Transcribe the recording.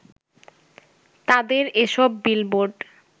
তাদের এসব বিলবোর্ড